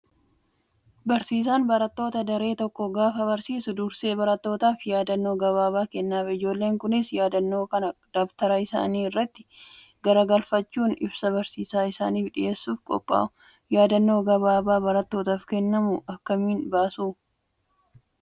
Barsiisaan barattoota daree tokkoo gaafa barsiisu dursee barattootaaf yaadannoo gabaabaa kennaaf. Ijoolleen kunis yaadannoo kana dabtara isaanii irratti garagalfachuun ibsa barsiisaan isaaniif dhiyeessuuf qophaa'u. Yaadannoo gabaabaa barattootaaf kennamu akkamiin baasuu?